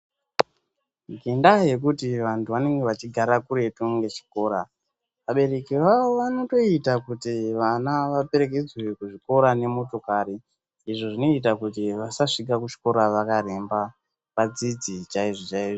Ngendaya yekuti vantu vanenge vachigara kuretu ngechikora abereki vavo vanotoita kuti vana vaperekedzwe kuzvikora nemotokari izvi zvinoita kuti vasasvika kuchikora vakaremba vadzidze chaizvo chaizvo